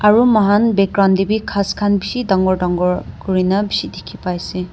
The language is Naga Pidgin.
Aro mokhan background dae bhi ghas khan beshi dangor dangor kurena beshi dekhe pai ase.